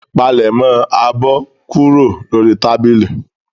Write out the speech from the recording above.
Palẹ̀mọ́ abọ́ kúrò lórí tábìlì.